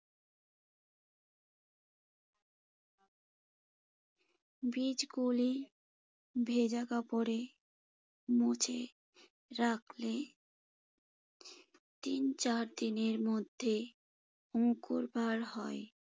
বীজগুলি ভেজা কাপড়ে মুছে রাখলে তিন-চার দিনের মধ্যে অঙ্কুর বার হয়।